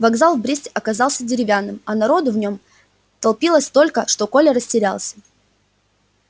вокзал в бресте оказался деревянным а народу в нём толпилось столько что коля растерялся